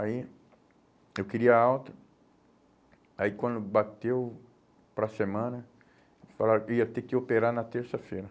Aí eu queria alta, aí quando bateu para a semana, falaram que eu ia ter que operar na terça-feira.